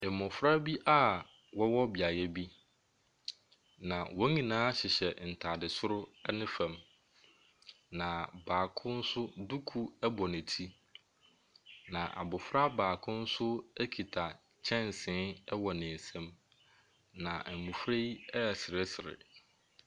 Mmɔfra bi a wɔwɔ beaeɛ bi, na wɔn nyinaa hyehyɛ ntadeɛ soro ne fam, na baako nso duku bɔ ne ti. Na abɔfra baako nso kita kyɛnsee wɔ ne nsam, na mmɔfra yi reseresere.